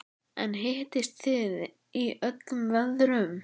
En hittist þið í öllum veðrum?